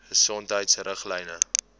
gesondheidriglyne